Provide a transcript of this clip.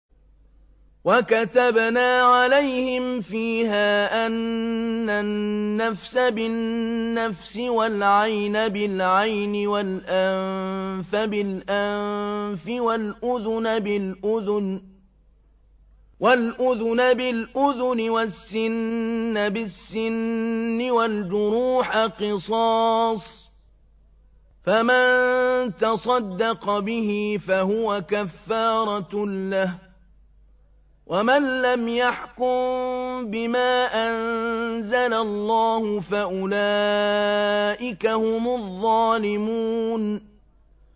وَكَتَبْنَا عَلَيْهِمْ فِيهَا أَنَّ النَّفْسَ بِالنَّفْسِ وَالْعَيْنَ بِالْعَيْنِ وَالْأَنفَ بِالْأَنفِ وَالْأُذُنَ بِالْأُذُنِ وَالسِّنَّ بِالسِّنِّ وَالْجُرُوحَ قِصَاصٌ ۚ فَمَن تَصَدَّقَ بِهِ فَهُوَ كَفَّارَةٌ لَّهُ ۚ وَمَن لَّمْ يَحْكُم بِمَا أَنزَلَ اللَّهُ فَأُولَٰئِكَ هُمُ الظَّالِمُونَ